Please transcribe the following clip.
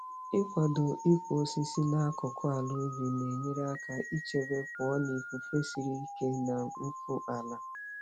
Ịkwado ịkụ osisi n'akụkụ ala ubi na-enyere aka ichebe pụọ na ifufe siri ike na mfu ala.